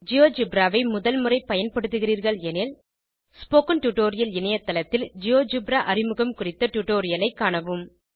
GeoGebra ஐ முதல் முறை பயன்படுத்துகிறீர்கள் எனில் ஸ்போகன் டுடோரியல் இணையத்தளத்தில் ஜியோஜெப்ரா அறிமுகம் குறித்த டுடோரியலை காணவும்